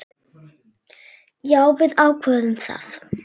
Já, við ákváðum það.